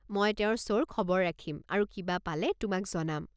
মই তেওঁৰ শ্ব'ৰ খবৰ ৰাখিম আৰু কিবা পালে তোমাক জনাম।